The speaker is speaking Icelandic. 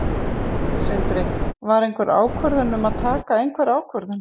Sindri: Var einhver ákvörðun um að taka einhverja ákvörðun?